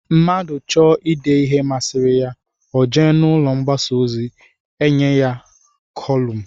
Mmadụ chọọ ịde ihe masịrị ya, o jee n'ụlọ mgbasa ozi, e nye gị kolụmụi